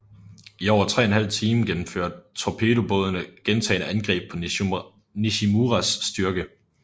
I over 3½ time gennemførte torpedobådene gentagne angreb på Nishimuras styrke